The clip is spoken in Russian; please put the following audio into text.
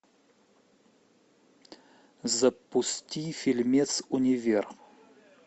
запусти фильмец универ